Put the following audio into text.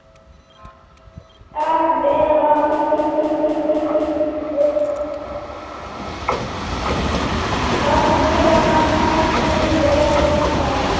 Að vera eða ekki vera?